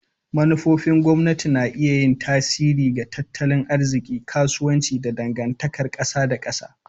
Manufofin gwamnati na iya yin tasiri ga tattalin arziki, kasuwanci, da dangantakar kasa da kasa.